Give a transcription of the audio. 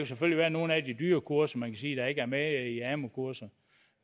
selvfølgelig være nogle af de dyre kurser man kan sige ikke er med blandt amu kurserne